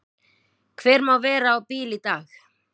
Hver má vera á bíl í dag?